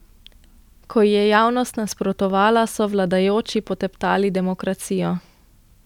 Ko ji je javnost nasprotovala, so vladajoči poteptali demokracijo.